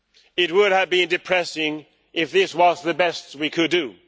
It would have been depressing if this was the best we could do.